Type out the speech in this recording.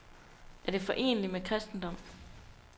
Er det foreneligt med kristendom?